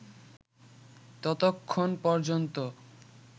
ততক্ষণ পর্যন্ত